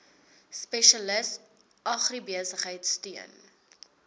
spesialis agribesigheid steun